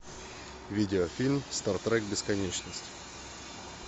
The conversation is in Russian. видеофильм стартрек бесконечность